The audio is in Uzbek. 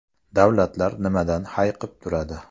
Davlatlar nimadan hayiqib turadi?